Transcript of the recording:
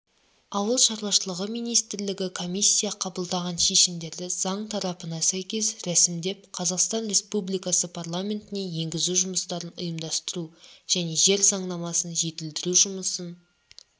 ауыл шаруашылығы министрлігі комиссия қабылдаған шешімдерді заң талаптарына сәйкес рәсімдеп қазақстан республикасы парламентіне енгізу жұмыстарын ұйымдастыру және жер заңнамасын жетілдіру жұмысын